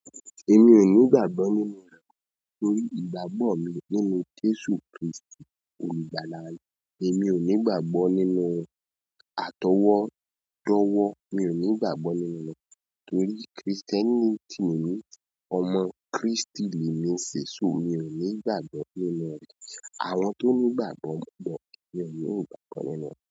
Èmi ò ní ìgbàgbọ́ nínú rẹ̀ torí ìgbàgbọ́ mi nínú Jésù Krístì Olùgbàlà. Èmi ò ní ìgbgbàgbọ́ nínú àtọwọ́dọ́wọ́, mi ò ní ìgbàgbọ́ nínú rẹ̀ torí krìstẹ́nìtì mi, ọmọ Krístì ni mi ń ṣe. So mi ò ní ìgbàgbọ́ nínú rẹ̀. Àwọn tó ní ìgbàgbọ́ mọ́ ṣùgbọ́n mi ò ni igbàgbọ́ nínú rẹ̀